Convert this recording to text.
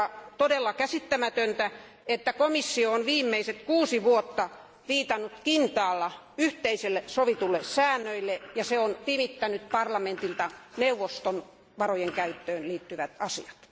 On todella käsittämätöntä, että komissio on viimeiset kuusi vuotta viitannut kintaalla yhteisille sovituille säännöille ja pimittänyt parlamentilta neuvoston varojen käyttöön liittyvät asiat.